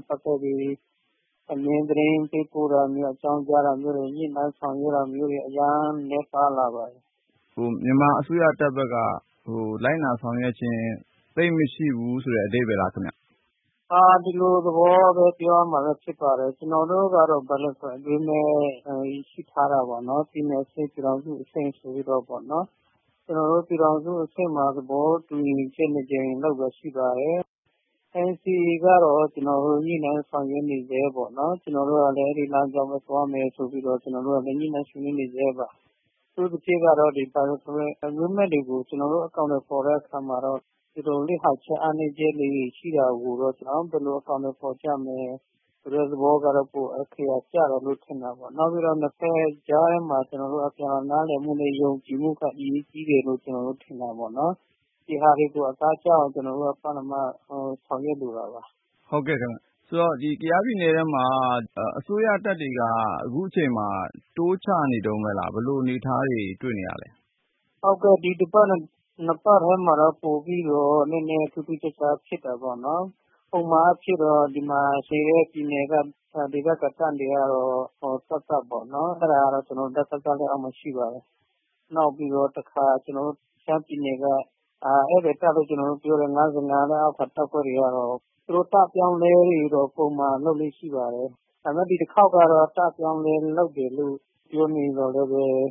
့ ပတ်သက်ပြီး အမြဲသတင်းပေးပို့တာမျိုး၊ အကြောင်းကြားတာမျိုးတွေ၊ ညှိနှိုင်းဆောင်ရွက်တာ မျိုးတွေ အရမ်းနည်းပါလာပါတယ်။ ဉာဏ်ဝင်းအောင် ။ ။ မြန်မာအစိုးရတပ်ဘက်က လိုက်နာဆောင်ရွက်ခြင်း၊ သိပ်မရှိဘူးဆိုတဲ့ အဓိပ္ပါယ်လားခင်ဗျ။ ခူးဦးရယ် ။ ။ ဒီလိုသဘောပဲ ပြောရမှာပဲဖြစ်ပါတယ်။ ကျနော်တို့ကတော့ bilateral agreement ရှိထားတာ ပေါ့။ ပြည်နယ်အဆင့် ၊ ပြည်ထောင်စုအဆင့်ဆိုပြီးတော့ပေါ့နော်။ ကျနော်တို့ ပြည်ထောင်စုအဆင့်မှာ သဘောတူညီချက် ၂ ကြိမ်လုပ်တာရှိပါတယ်။ NCA ကတော့ ကျနော်တို့ ညှိနှိုင်းဆောင်ရွက်နေဆဲ ပေါ့နော်။ ကျနော်တို့ကလည်း အဲဒီလမ်းကြောင်းပဲသွားမယ်ဆိုပြီးတော့ ညှိနှိုင်းဆွေးနွေးနေဆဲပါ။ အထူးသဖြင့်ကတော့ bilateral agreement တွေကို ကျနော်တို့ အကောင်အထည်ဖော်တဲ့အခါ မှာတော့ လစ်ဟာချက်၊ အားနည်း ချက်လေးတွေရှိတာကိုတော့ ဘယ်လိုအကောင်အထည်ဖော်ကြမယ် ဆိုတာကတော့ ပိုအခရာကျတယ်လို့ ထင်တာပေါ့ နောက်တခုက ကျနော်တို့ ၂ ဘက်ကြားထဲမှာ အပြန်အလှန်နားလည်မှုနဲ့ ယုံကြည်မှုက ပိုပြီးတော့ အရေးကြီးတယ်လို့ ကျနော်တို့ထင်တာပေါ့။ ဒီဟာတွေကို အသားကျအောင် ကျနော်တို့က ပထမဆောင်ရွက်လို တာပါ။ ဉာဏ်ဝင်းအောင် ။ ။ ဟုတ်ကဲ့ခင်ဗျ။ ဒီတော့ ကျနော်တို့ ကယားပြည်နယ်ထဲမှာ အစိုးရတပ်တွေက အခုချိန်မှာ တိုးချနေတုန်းပဲလား၊ ဘယ်လိုအနေအထားတွေ တွေ့နေရသလဲ။ ခူးဦးရယ် ။ ။ ဟုတ်ကဲ့ ဒီတစ်ပတ် နှစ်ပတ်ထဲမှာတော့ ပိုပြီးတော့နည်းနည်းထူးထူးခြားခြားဖြစ်တာပေါ့နော်၊ ပုံမှန်အားဖြင့်တော့ ဒီမှာနေတဲ့ ဒေသခံတပ်တွေကတော့ သပ်သပ်ပေါ့နော်။ အဲဒါကတော့ ကျနော်တို့ ဒစခ လက်အောက်မှာရှိပါတယ်။ နောက်ပြီးတော့ တခါကျနော်တို့ ရှမ်းပြည်နယ်က ဧည့်သည်တပ်လို့ ကျနော်တို့ ပြောတဲ့ ၅၅ လက်အောက်ခံတပ်တွေကတော့ သူတို့ တပ်အပြောင်းအလဲတွေက ပုံမှန်လုပ်လေ့ရှိပါတယ်။ ဒါပေမဲ့ ဒီတခေါက်ကတော့ တပ်အပြောင်းအလဲလုပ်တယ်လို့ ပြောနေသော်လည်း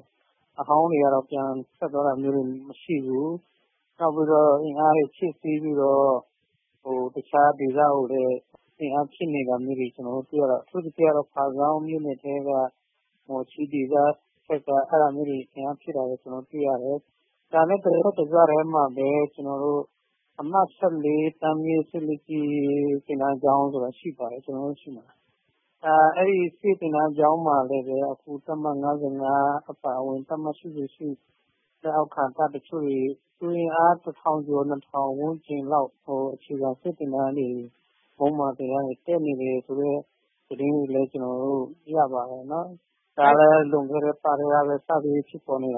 အဟောင်းတွေကတော့ ပြန်ထွက်သွားတာမျိုးတွေမရှိဘူး။ နောက်ပြီးတော့ အင်အားတွေ ဖြည့်တင်းပြီးတော့ တခြားဒေသကိုလည်း အင်အားဖြည့်နေတာမျိုးတွေ ကျနော်တို့တွေ့ရတယ်။ အထူးသဖြင့်ကတော့ ဖားဆောင်းမြို့နယ်ထဲက မော်ချီး ဒေသဘက်မှာ အင်အားဖြည့်နေတာမျိုးတွေ ကျနော်တို့တွေ့ရတယ်။ ကျန်တဲ့ ကယားဒေသထဲမှာပဲ ကျနော်တို့ အမှတ် ၁၄ တန်းမြှင့်စစ်သင်တန်းကျောင်းဆိုတာရှိပါတယ်။ အဲဒီစစ်သင်တန်းကျောင်းမှာလဲ တပ်မ ၅၅ အပါ အဝင် တပ်မ ၈၈ လက်အောက်ခံတပ်တချို့တွေ လူအင်အား ၁ ထောင်ကျော် ၂ ထောင် ဝန်းကျင်လောက် အခြေခံစစ်သင်တန်းတွေ မွမ်းမံသင်တန်းတွေ တက်နေတယ်ဆိုတဲ့ သတင်းတွေ ကျနော်တို့ရပါတယ်။ ဒါက လည်း လွန်ခဲ့တဲ့ အပတ်ကတည်းက စပြီးဖြစ်ပေါ်နေတာ